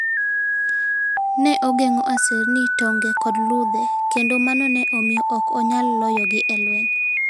Ne ogeng'o aserini, tonge, kod ludhe, kendo mano ne miyo ok onyal loyogi e lweny.